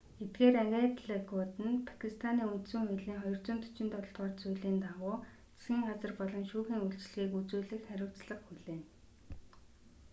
эдгээр агентлагууд нь пакистаний үндсэн хуулийн 247-р зүйлийн дагуу засгийн газар болон шүүхийн үйлчилгээг үзүүлэх хариуцлага хүлээнэ